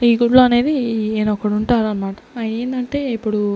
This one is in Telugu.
యూట్యూబ్ అనేది ఈయన ఒక్కడు ఉంటాడు అన్నమాట ఆ ఈయన అంటే ఇప్పుడు. --